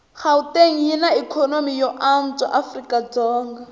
gauteng yinaikonomy yoanswa afrikadzonga